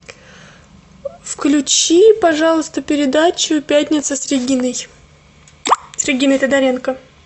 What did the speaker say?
включи пожалуйста передачу пятница с региной с региной тодоренко